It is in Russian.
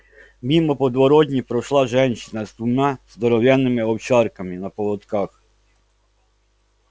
мимо подворотни прошла женщина с двумя здоровенными овчарками на поводках